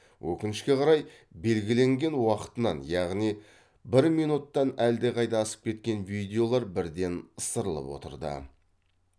өкінішке қарай белгіленген уақытынан яғни бір минуттан әлдеқайда асып кеткен видеолар бірден ысырылып отырды